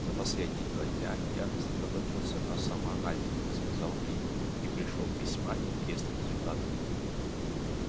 за последние два дня я сосредоточился на самоанализе сказал кьюти и пришёл к весьма интересным результатам